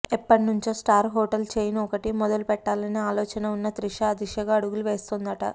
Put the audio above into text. ఎప్పట్నుంచో star hotel chain ఒకటి మొదలు పెట్టాలనే ఆలోచన వున్న త్రిష ఆ దిశగా అడుగులు వేస్తోందట